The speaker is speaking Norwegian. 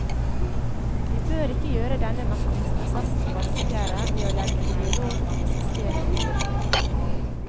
Vi bør ikke gjøre denne mestringsprosessen vanskeligere ved å legge ideologisk sten til byrden.